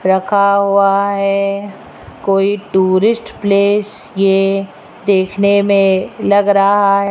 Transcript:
रखा हुआ है कोई टूरिस्ट प्लेस ये देखने में लग रहा --